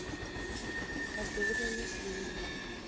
ka se bolele le selo